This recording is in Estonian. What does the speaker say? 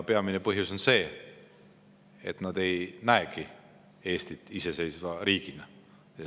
Peamine põhjus on see, et nad ei näegi Eestit iseseisva riigina.